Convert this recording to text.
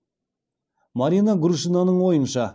марина грушинаның ойынша